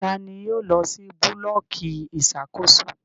Tani yóò lọ si bulọọki iṣakoso?